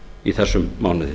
í þessum mánuði